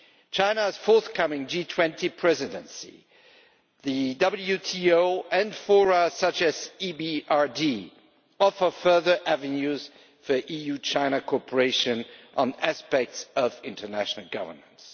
China's forthcoming G20 presidency, the WTO and fora such as the EBRD offer further avenues for EU China cooperation on aspects of international governance.